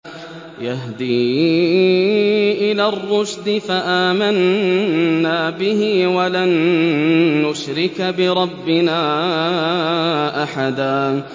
يَهْدِي إِلَى الرُّشْدِ فَآمَنَّا بِهِ ۖ وَلَن نُّشْرِكَ بِرَبِّنَا أَحَدًا